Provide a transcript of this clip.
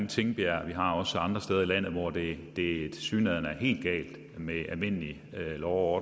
tingbjerg vi har også andre steder i landet hvor det det tilsyneladende er helt galt med almindelig lov og